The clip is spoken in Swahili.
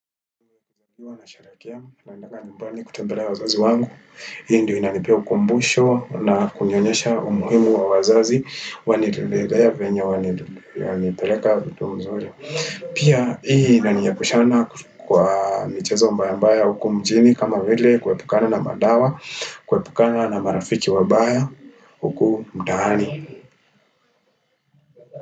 Ndiyo nasherehekea na endaga nyumbani kutembelea wazazi wangu. Hii ndiyo inanipea ukumbusho na kunionyesha umuhimu wa wazazi. Wanitembelea venyewe, wanipeleka vitu mzuri. Pia hii inaniepusha kwa michezo mbaya mbaya huku mjini kama vile kuepukana na madawa, kuepukana na marafiki wabaya huku mtaani.